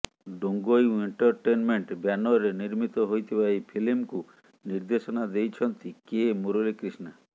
Dongyu entertainment ବ୍ୟାନରରେ ନିର୍ମିତ ହୋଇ ଥିବା ଏହି ଫିଲ୍ମକୁ ନିର୍ଦ୍ଦେଶନା ଦେଇଛନ୍ତି କେ ମୂରଲି କ୍ରିଷ୍ଣା